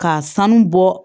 K'a sanu bɔ